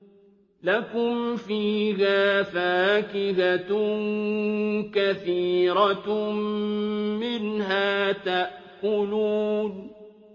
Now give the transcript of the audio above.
لَكُمْ فِيهَا فَاكِهَةٌ كَثِيرَةٌ مِّنْهَا تَأْكُلُونَ